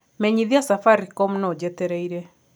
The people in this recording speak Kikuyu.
menyithia safaricom no njetereire